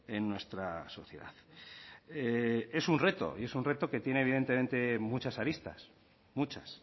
en nuestra sociedad es un reto y es un reto que tiene evidentemente muchas aristas muchas